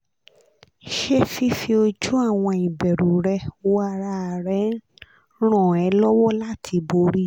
ṣé fífi ojú àwọn ìbẹ̀rù rẹ wo ara rẹ ń ràn ẹ́ lọ́wọ́ láti borí wọn?